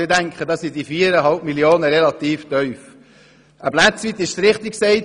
Ich denke, dass die 4,5 Mio. Franken im Vergleich damit relativ wenig sind.